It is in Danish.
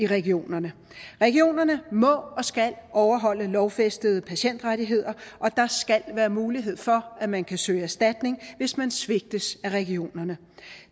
regionerne regionerne må og skal overholde lovfæstede patientrettigheder og der skal være mulighed for at man kan søge erstatning hvis man svigtes af regionerne